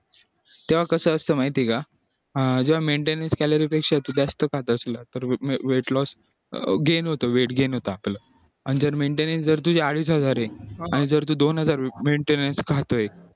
तेव्हा कसं असतं माहितीये का हा जेव्हा maintenance calorie पेक्षा तू जास्त खात असला तर weight loss gain होतो weight gain होतं आपलं आणि जर maintenance सर अडीच हजारये आणि तू दोन हजार maintenance खातोय